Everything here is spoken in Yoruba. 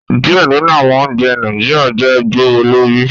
Diẹ ninu awọn ounjẹ Naijiria jẹ gbowolori